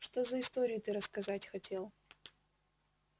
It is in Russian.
что за историю ты рассказать хотел